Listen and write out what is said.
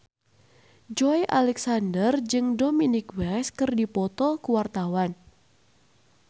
Joey Alexander jeung Dominic West keur dipoto ku wartawan